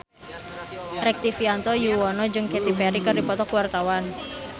Rektivianto Yoewono jeung Katy Perry keur dipoto ku wartawan